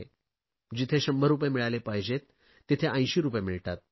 जिथे 100 रुपये मिळाले पाहिजेत तिथे 80 रुपये मिळतात